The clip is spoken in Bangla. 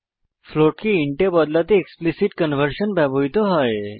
ফ্লোট কে ইন্ট এ বদলাতে এক্সপ্লিসিট কনভার্সন ব্যবহৃত হয়